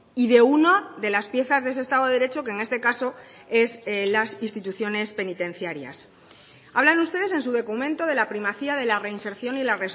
y de una de las piezas de ese estado de derecho que en este caso es las instituciones penitenciarias hablan ustedes en su documento de la primacía de la reinserción y la